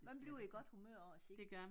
Man bliver i godt humør af at kigge